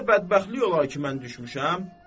Belə də bədbəxtlik olar ki, mən düşmüşəm?